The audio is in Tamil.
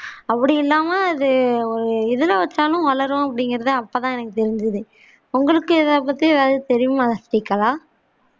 அப்படியில்லாமா அது எதுல வெச்சாலும் வளரும் அப்படிங்கிறத அப்பத்தான் எனக்கு தெரிஞ்சிது உங்களுக்கு இத பத்தி எதாவது தெரியுமா ஸ்ரீகலா